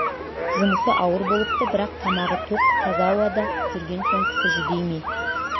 жұмысы ауыр болыпты бірақ тамағы тоқ таза ауада жүрген соң кісі жүдей ме